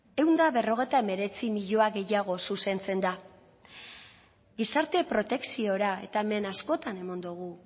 ehun eta berrogeita hemeretzi milioi gehiago zuzentzen da gizarte protekziora eta hemen askotan eman dugu